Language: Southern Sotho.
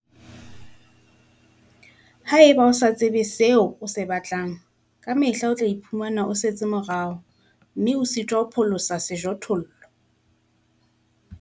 Ha eba o sa tsebe seo o se batlang, ka mehla o tla iphumana o setse morao, mme o sitwa ho pholosa sejothollo.